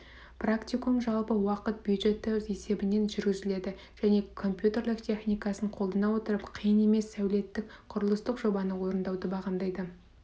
практикум жалпы уақыт бюджеті есебінен жүргізіледі және компьютерлік техникасын қолдана отырып қиын емес сәулеттік құрылыстық жобаны орындауды бағамдайды